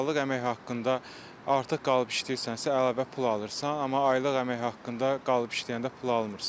Saatlıq əmək haqqında artıq qalıb işləyirsənsə, əlavə pul alırsan, amma aylıq əmək haqqında qalıb işləyəndə pul almırsan.